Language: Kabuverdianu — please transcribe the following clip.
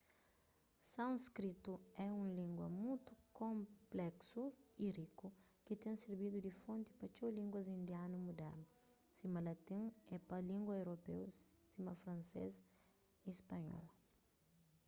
sânskritu é un língua mutu konpléksu y riku ki ten sirbidu di fonti pa txeu línguas indianu mudernu sima latin é pa língua europeu sima fransês y spanhol